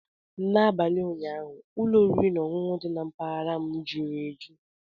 N'abalị ụnyaahụ, ụlọ oriri na ọṅụṅụ niile dị na mpaghara m jury eju.